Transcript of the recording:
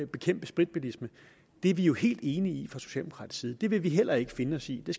bekæmpe spritbilisme er vi jo helt enige i fra socialdemokratisk side det vil vi heller ikke finde os i det